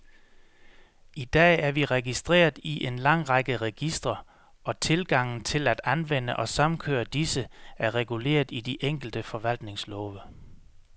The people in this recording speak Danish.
I dag er vi registreret i en lang række registre, og tilgangen til at anvende og samkøre disse, er reguleret i de enkelte forvaltningslove.